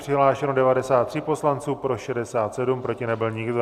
Přihlášeno 93 poslanců, pro 67, proti nebyl nikdo.